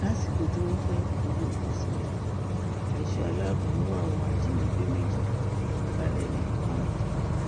lásìkò tí wọn fẹẹ gbowó ìtúsílẹ ẹṣọ aláàbọ mú àwọn ajínigbé méjì balẹ ní kwara